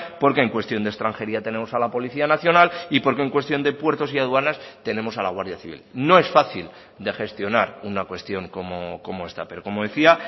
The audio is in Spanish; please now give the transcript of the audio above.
porque en cuestión de extranjería tenemos a la policía nacional y porque en cuestión de puertos y aduanas tenemos a la guardia civil no es fácil de gestionar una cuestión como esta pero como decía